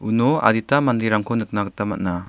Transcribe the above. uno adita manderangko nikna gita man·a.